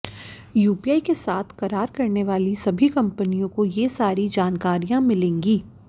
UPI के साथ करार करने वाली सभी कंपनियों को ये सारी जानकारियां मिलेंगी